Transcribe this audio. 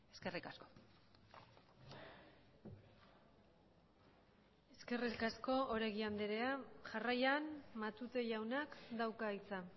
eskerrik asko eskerrik asko oregi andrea jarraian matute jaunak dauka hitza